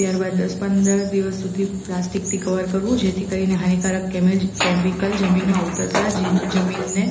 ત્યારબાદ દસ પંદર દિવસ સુધી પ્લાસ્ટિકથી કવર કરવું જેથી કરીને હાનિકારક કેમેજ કેમીકલ જમીનમાં ઉતરતાંં જ જી જમીનને